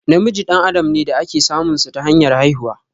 Namiji dan adam ne da ake samun sa ta hanyar haihuwa.